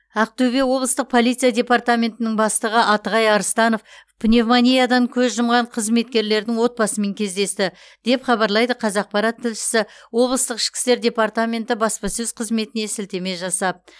ақтөбе облыстық полиция департаментінің бастығы атығай арыстанов пневмониядан көз жұмған қызметкерлердің отбасымен кездесті деп хабарлайды қазақпарат тілшісі облыстық ішкі істер департаменті баспасөз қызметіне сілтеме жасап